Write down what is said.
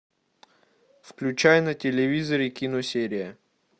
включай на телевизоре киносерия